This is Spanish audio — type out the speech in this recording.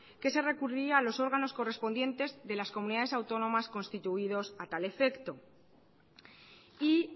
que se recurriría a los órganos correspondientes de las comunidades autónomas constituidos a tal efecto y